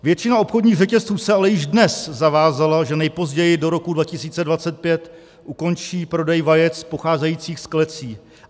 Většina obchodních řetězců se ale již dnes zavázala, že nejpozději do roku 2025 ukončí prodej vajec pocházejících z klecí.